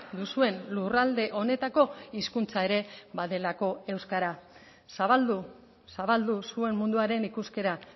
duzuen lurralde honetako hizkuntza ere badelako euskara zabaldu zabaldu zuen munduaren ikuskera